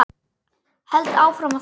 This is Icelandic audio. Held áfram að þegja.